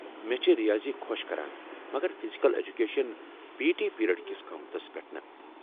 مےٚ چھےٚ ریاضی خۄش کران مگر physical education P T period كِس قٲمتس پیٹھ نہٕ